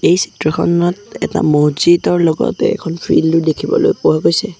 এই চিত্ৰখনত এটা মছজিদৰ লগতে এখন ফিল্ডও দেখিবলৈ পোৱা গৈছে।